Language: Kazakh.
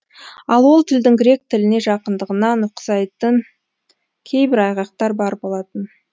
ал ол тілдің грек тіліне жақындығына нұқсайтын кейбір айғақтар бар болатын